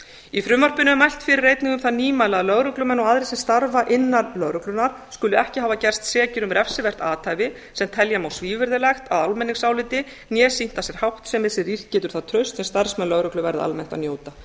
í frumvarpinu er mælt fyrir einnig um það nýmæli að lögreglumenn og aðrir sem starfa innan lögreglunnar skuli ekki hafa gerst sekir um refsivert athæfi sem telja má svívirðilegt að almenningsáliti né sýnt af sér háttsemi sem rýrt getur það traust sem starfsmenn lögreglu verða almennt að njóta